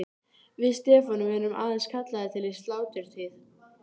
Við Stefán erum aðeins kallaðir til í sláturtíð.